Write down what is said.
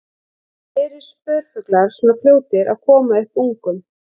Eru spörfuglar svona fljótir að koma upp ungum?